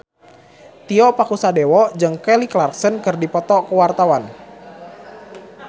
Tio Pakusadewo jeung Kelly Clarkson keur dipoto ku wartawan